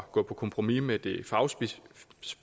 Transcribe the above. gå på kompromis med det